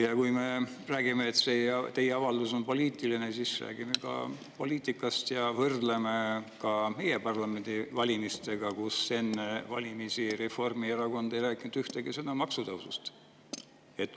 Ja kui me räägime, et see teie avaldus on poliitiline, siis räägime ka poliitikast ja võrdleme ka meie parlamendivalimistega, kui enne valimisi Reformierakond ei rääkinud ühtegi sõna maksutõusust.